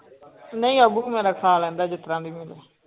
ਨਹੀਂ ਅਬੀ ਮੇਰਾ ਖਾ ਲੈਂਦਾ ਜਿਸ ਤਰ੍ਹਾਂ ਵੀ ਮਿਲੇ।